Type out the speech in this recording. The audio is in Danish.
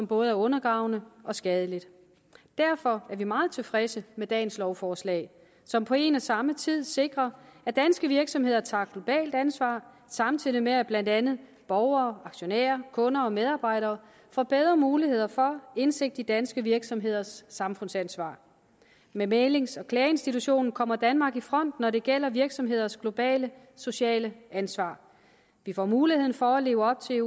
både er undergravende og skadeligt derfor er vi meget tilfredse med dagens lovforslag som på en og samme tid sikrer at danske virksomheder tager globalt ansvar samtidig med at blandt andet borgere aktionærer kunder og medarbejdere får bedre muligheder for indsigt i danske virksomheders samfundsansvar med mæglings og klageinstitutionen kommer danmark i front når det gælder virksomheders globale sociale ansvar de får mulighed for at leve op til